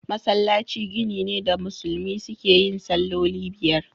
Masallaci gini ne da musulmi suke yin salloli biyar.